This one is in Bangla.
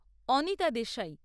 অনিতা দেশাই